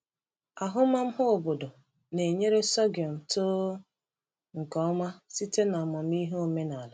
Ahụmahụ obodo na-enyere sorghum too nke ọma site n’amamihe omenala.